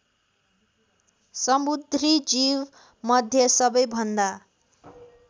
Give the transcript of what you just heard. समुद्री जीवमध्ये सबैभन्दा